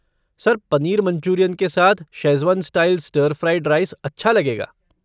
Sir, paneer Manchurian के साथ Schezwan style stir fried rice अच्छा लगेगा।